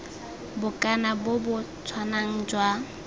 bokana bo bo tshwanang jwa